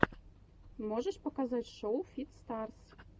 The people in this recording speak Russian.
можешь показать шоу фит старс